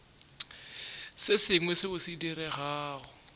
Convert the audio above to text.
se sengwe seo se diregago